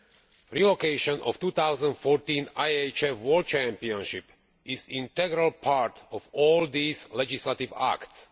The relocation of the 2014 IHF World Championship is an integral part of all these legislative acts.